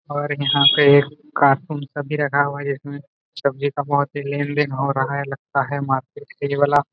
और यहां पे कार्टून सब भी रखा हुआ है जिसमें सब्जी का बहुत ही लेन देन हो रहा है लगता है मार्केट के ये वाला --